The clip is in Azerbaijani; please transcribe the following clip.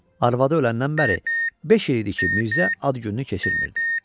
Arvadı öləndən bəri beş il idi ki, Mirzə ad gününü keçirmirdi.